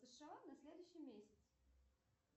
на следующий месяц